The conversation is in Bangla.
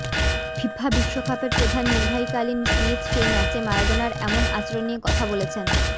ফিফা বিশ্বকাপের প্রধান নির্বাহী কলিন স্মিথ সেই ম্যাচে ম্যারাডোনার এমন আচরণ নিয়ে কথা বলেছেন